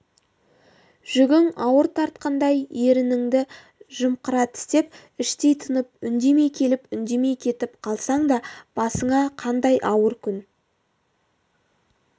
жүгің ауыр тартқандай ерініңді жымқыра тістеп іштей тынып үндемей келіп үндемей кетіп қалсаң да басыңа қандай ауыр күн